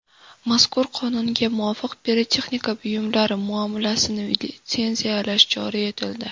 Mazkur qonunga muvofiq pirotexnika buyumlari muomalasini litsenziyalash joriy etildi.